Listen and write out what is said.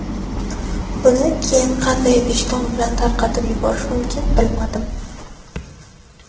Buni keyin qanday vijdon bilan tarqatib yuborish mumkin bilmadim.